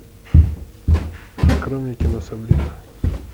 открой мне кино сабрина